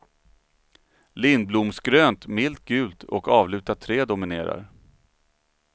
Lindblomsgrönt, milt gult och avlutat trä dominerar.